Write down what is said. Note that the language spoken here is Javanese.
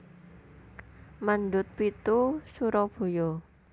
Mendut pitu Surabaya